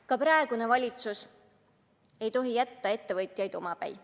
Ka praegune valitsus ei tohi jätta ettevõtjaid omapäi.